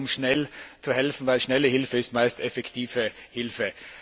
Es geht darum, schnell zu helfen, denn schnelle Hilfe ist meist effektive Hilfe.